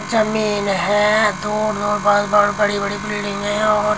जमीन है दो बड़ी बड़ी बिल्डिंगें हैं।